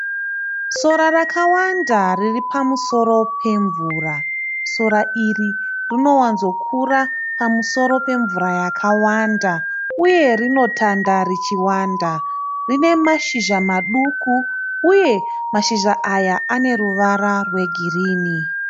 Sora rakawanda riripamusoro pemvura. Sora iri rinowanzokura pamusoro pemvura yakawanda, uye rinotanda richiwanda. Rine mashizha maduku uye mashizha aya aneruvara rwegirini.